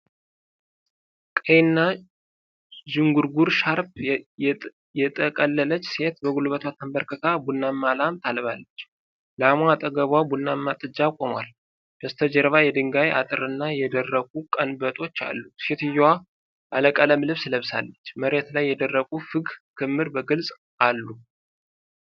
ቀይና ዥንጉርጉር ሻርፕ የጠቀለለች ሴት በጉልበቷ ተንበርክካ ቡናማ ላም ታልባለች። ላሟ አጠገቧ ቡናማ ጥጃ ቆሟል፤ በስተጀርባ የድንጋይ አጥርና የደረቁ ቀንበጦች አሉ። ሴትየዋ ባለቀለም ልብስ ለብሳለች፤ መሬት ላይ የደረቁ ፍግ ክምር በግልጽ አሉ።